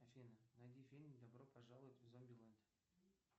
афина найди фильм добро пожаловать в зомбилэнд